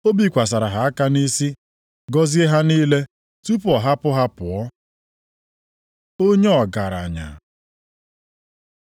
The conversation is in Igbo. O bikwasịrị ha aka nʼisi gọzie ha niile tupu ọ hapụ ha pụọ. Onye ọgaranya